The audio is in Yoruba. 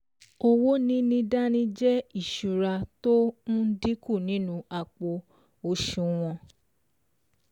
Owó níní dání jẹ́ ìsúra tó n dínkù nínú nínú àpò òsùwọ̀n